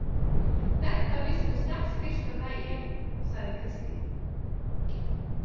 Þetta vissum við strax fyrsta daginn, sagði Kristín.